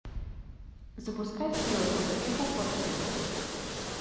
запускай вперед к успеху фор кей